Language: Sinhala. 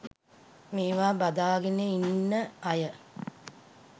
මේවා බදාගෙන ඉන්න අය